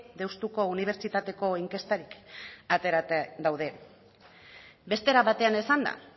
deustuko unibertsitateko inkestatik aterata daude beste era batean esanda